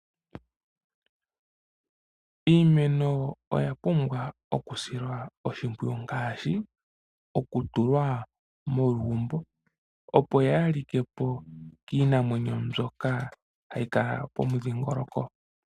Iimeno oya pumbwa okusilwa oshimpwiyu ngaashi oku tulwa molugumbo opo yaalike po kiinamwenyo mbyoka hayi kala pomudhingoloko.